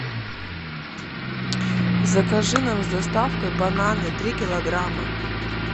закажи нам с доставкой бананы три килограмма